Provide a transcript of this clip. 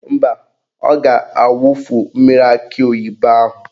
Mba, ọ ga-awufu mmiri akị oyibo ahụ.